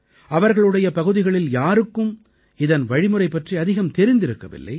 அவர்களுடைய பகுதிகளில் யாருக்கும் இதன் வழிமுறை பற்றி அதிகம் தெரிந்திருக்கவில்லை